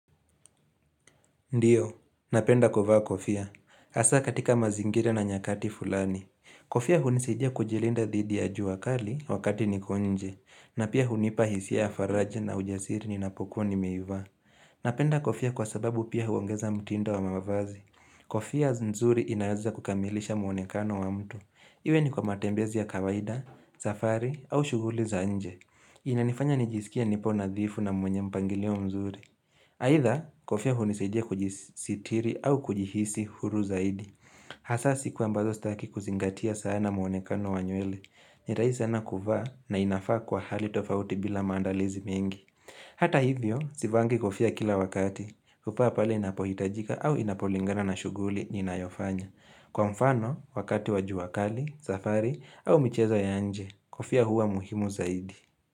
Ndiyo, napenda kuvaa kofia. Asa katika mazingira na nyakati fulani. Kofia hunisijia kujilinda dhidi ya jua kali wakati niko nje. Na pia hunipa hisia ya faraja na ujasiri ninapokuwa nimeivaa. Napenda kofia kwa sababu pia huongeza mtindo wa mavazi. Kofia nzuri inaweza kukamilisha muonekano wa mtu. Iwe ni kwa matembezi ya kawaida, safari au shughuli za nje. Inanifanya nijisikie nipo nadhifu na mwenye mpangilio mzuri. Haitha, kofia hunisadia kujisitiri au kujihisi huru zaidi. Hasa siku ambazo sitaki kuzingatia sana muonekano wa nywele. Ni rahisi sana kuvaa na inafaa kwa hali tofauti bila maandalizi mingi. Hata hivyo, sivaangi kofia kila wakati. Hufaa pale inapohitajika au inapolingana na shughuli ninayofanya. Kwa mfano, wakati wajua kali, safari au mchezo ya nje, kofia huwa muhimu zaidi.